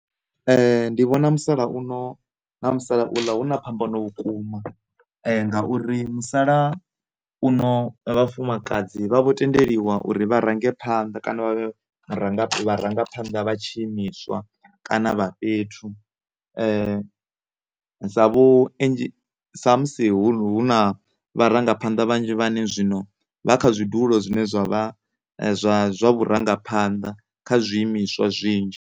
Ndi vhona musalauno na musalauḽa hu na phambano vhukuma nga uri musala uno vhafumakadzi vha vho tendeliwa uri vha range phanḓa kana vha vhe vharangaphanḓa vha tshiimiswa kana vha fhethu zwa vhu sa musi hu na, hu na vharangaphanḓa vhanzhi vhane zwino vha kha zwidulo zwine zwavha zwa, zwa vhurangaphanḓa kha zwiimiswa zwinzhi.